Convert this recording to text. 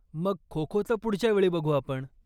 मग, खो खोचं पुढच्यावेळी बघू आपण.